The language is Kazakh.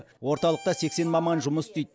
орталықта сексен маман жұмыс істейді